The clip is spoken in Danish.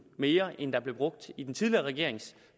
mere end der blev brugt i den tidligere regerings